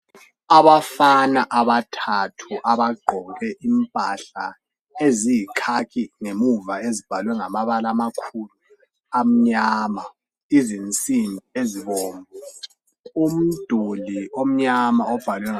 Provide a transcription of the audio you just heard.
Abafana abathathu abagqoke impahla eziyikhakhi ngemuva ezibhalwe ngamabala amakhulu amnyama. Izinsimbi ezibomvu, umduli omnyama obhalwe